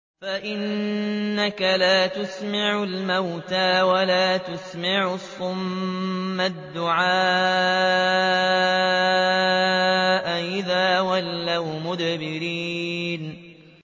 فَإِنَّكَ لَا تُسْمِعُ الْمَوْتَىٰ وَلَا تُسْمِعُ الصُّمَّ الدُّعَاءَ إِذَا وَلَّوْا مُدْبِرِينَ